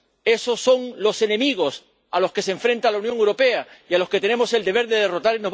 esos son los enemigos a los que se enfrenta la Unión Europea y a los que tenemos el deber de derrotar.